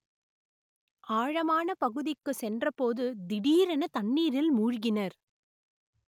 ஆழமான பகுதிக்கு சென்றபோது திடீரென தண்ணீரில் மூழ்கினர்